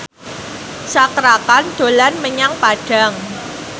Cakra Khan dolan menyang Padang